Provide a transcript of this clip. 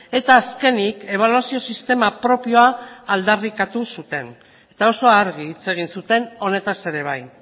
eta azkenik ebaluazio sistema propioa aldarrikatu zuten eta oso argi hitz egin zuten honetaz ere bai